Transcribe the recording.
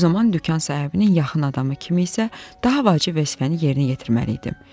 Bu zaman dükan sahibinin yaxın adamı kimi isə daha vacib vəzifəni yerinə yetirməliydim.